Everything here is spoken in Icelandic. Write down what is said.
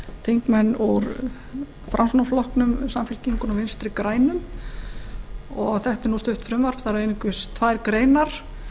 þingmenn úr framsóknarflokknum samfylkingunni og vinstri grænum þetta er nú stutt frumvarp það er einungis tvær greinar